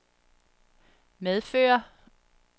medføre